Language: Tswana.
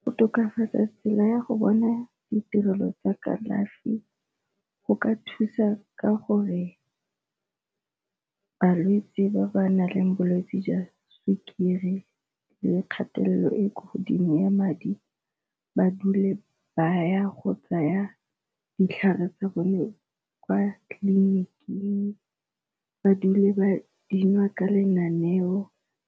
Go tokafatsa tsela ya go bona ditirelo tsa kalafi go ka thusa ka gore balwetsi ba ba naleng bolwetsi jwa sukiri le kgatelelo e kwa godimo ya madi ba dule baya go tsaya ditlhare tsa bone kwa tleliniking, ba dule ba dinwa ka lenaneo